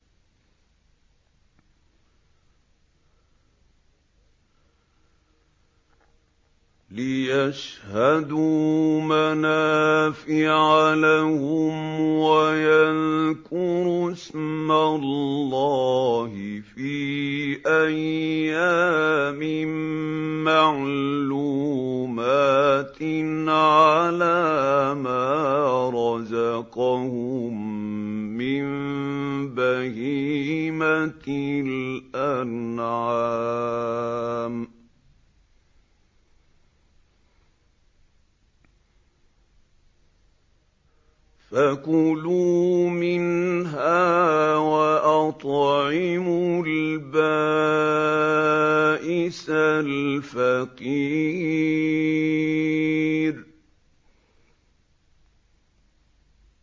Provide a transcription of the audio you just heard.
لِّيَشْهَدُوا مَنَافِعَ لَهُمْ وَيَذْكُرُوا اسْمَ اللَّهِ فِي أَيَّامٍ مَّعْلُومَاتٍ عَلَىٰ مَا رَزَقَهُم مِّن بَهِيمَةِ الْأَنْعَامِ ۖ فَكُلُوا مِنْهَا وَأَطْعِمُوا الْبَائِسَ الْفَقِيرَ